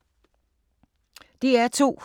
DR2